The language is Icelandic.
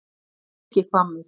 Birkihvammur